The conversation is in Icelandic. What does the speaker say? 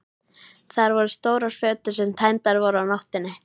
Þar voru stórar fötur sem tæmdar voru á nóttinni.